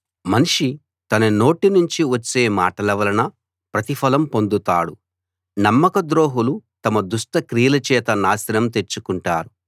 మనిషి తన నోటి నుంచి వచ్చే మాటల వలన ప్రతిఫలం పొందుతాడు నమ్మకద్రోహులు తమ దుష్ట క్రియల చేత నాశనం తెచ్చుకుంటారు